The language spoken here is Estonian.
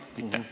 Aitäh!